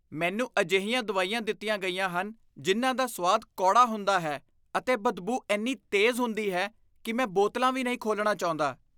ਮੈਨੂੰ ਅਜਿਹੀਆਂ ਦਵਾਈਆਂ ਦਿੱਤੀਆਂ ਗਈਆਂ ਹਨ ਜਿਨ੍ਹਾਂ ਦਾ ਸੁਆਦ ਕੌੜਾ ਹੁੰਦਾ ਹੈ ਅਤੇ ਬਦਬੂ ਇੰਨੀ ਤੇਜ਼ ਹੁੰਦੀ ਹੈ ਕਿ ਮੈਂ ਬੋਤਲਾਂ ਵੀ ਨਹੀਂ ਖੋਲ੍ਹਣਾ ਚਾਹੁੰਦਾ।